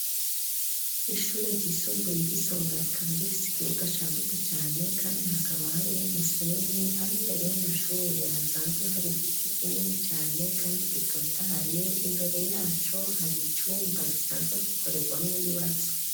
Ishure ryisumbuye ry'Isonga rikaba rifite ikibuga cagutse cane kandi hakaba harimw'umusenyi ,aho imbere y'amashure hasanzwe hari igiti kinini cane kandi gitotahaye ,imbere yaco har'icumba gisanzwe gikorerwamwo ibibazo.